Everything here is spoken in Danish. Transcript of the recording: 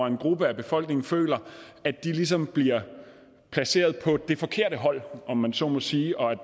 en gruppe af befolkningen føler at de ligesom bliver placeret på det forkerte hold om man så må sige og at